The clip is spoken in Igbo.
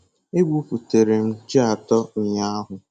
E gwuputere m ji atọ ụnyahụ.